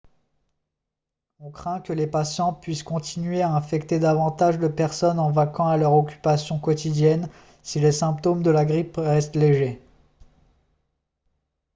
on craint que les patients puissent continuer à infecter davantage de personnes en vaquant à leurs occupations quotidiennes si les symptômes de la grippe restent légers